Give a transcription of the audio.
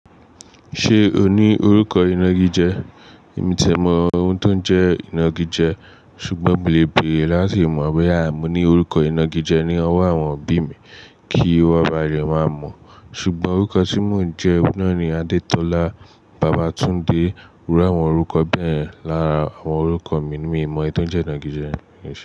Ṣé o ní orúkọ ìnagijẹ́? Èmi o ti ẹ mọ ohun tó ń jẹ́ ìnagijẹ́, ṣùgbọ́n mo lè béèrè láti mọ̀ bóyá mo ní orúkọ ìnagijẹ́ ní ọwọ́ àwọn òbí mi kí wọ́n ba lè má mọ̀. Ṣùgbọ́n orúkọ tí mò ń jẹ́ oun náà ni Adetola, Babatunde. Irú àwọn orúkọ bẹyẹn lára àwọn orúkọ mi ni mi mọ̀ eyi tó ń jẹ́ ìnagijẹ́ mi ni.